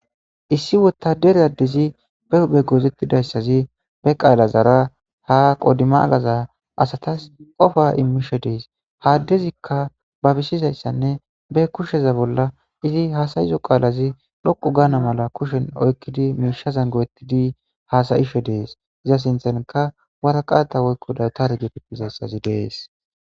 Issi wotaderaddizi be hube goozettidayssazi be qaala zaara ha qodima agaza asatas qofa immisho dees haaddezikka babisizayssanne be kusheza bolla izi haasayizo qaalazi dhoqu gaana mala kushen oykkidi miisha zangowettidi haasayisho dees iza sinthanka waraqata woykko dawutare geetettizayssazi dees.